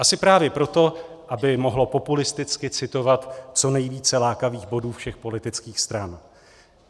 Asi právě proto, aby mohlo populisticky citovat co nejvíce lákavých bodů všech politických stran.